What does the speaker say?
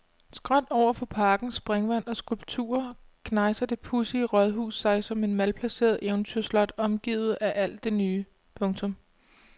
Skråt overfor parkens springvand og skulpturer knejser det pudsige rådhus sig som et malplaceret eventyrslot omgivet af alt det nye. punktum